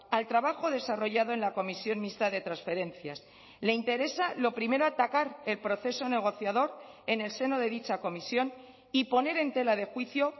al trabajo desarrollado en la comisión mixta de transferencias le interesa lo primero atacar el proceso negociador en el seno de dicha comisión y poner en tela de juicio